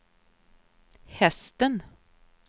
hästen